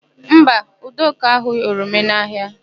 Mba, Udoka ahụghị oroma n'ahịa.